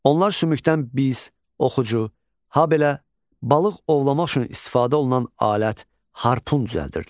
Onlar sümükdən biz, oxucu, habelə balıq ovlamaq üçün istifadə olunan alət, harpun düzəldirdilər.